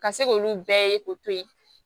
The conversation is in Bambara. Ka se k'olu bɛɛ ye k'o to ye